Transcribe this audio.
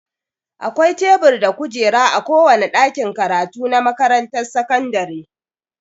Akwai tebur da kujeraa kowane ɗakin karatu na makaranrar sakandire.